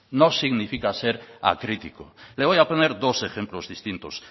no significa ser acrítico le voy a poner dos ejemplos distintos